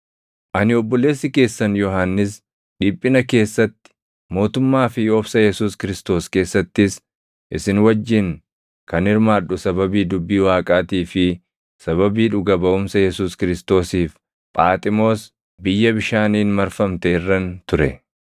Ani obboleessi keessan Yohannis dhiphina keessatti, mootummaa fi obsa Yesuus Kiristoos keessattis isin wajjin kan hirmaadhu sababii dubbii Waaqaatii fi sababii dhuga baʼumsa Yesuus Kiristoosiif Phaaximoos biyya bishaaniin marfamte irran ture.